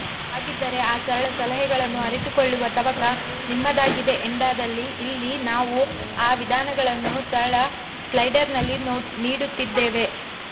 ಹಾಗಿದ್ದರೆ ಆ ಸರಳ ಸಲಹೆಗಳನ್ನು ಅರಿತುಕೊಳ್ಳುವ ತವಕ ನಿಮ್ಮದಾಗಿದೆ ಎಂದಾದಲ್ಲಿ ಇಲ್ಲಿ ನಾವು ಆ ವಿಧಾನಗಳನ್ನು ಸರಳ ಸ್ಲೈಡರ್ನಲ್ಲಿ ನೀಡುತ್ತಿದ್ದೇವೆ